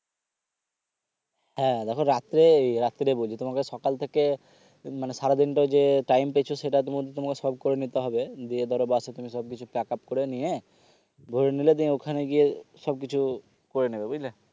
হ্যাঁ দেখো রাত্রে রাত্রে বলছি তোমাকে সকাল থেকে মানে সারাদিন টাই যে time পেয়েছো সেটার মধ্যে সব করে নিতে হবে গিয়ে ধরো বাসে তুমি pack up করে নিয়ে ধরে নিলে তুমি ওখানে গিয়ে সবকিছু করে নিবে বুঝলে